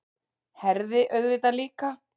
Herði auðvitað líka.